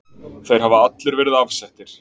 Þeir hafa allir verið afsettir.